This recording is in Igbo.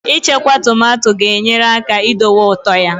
Ichekwa tomato ga-enyere aka idowe ụtọ ya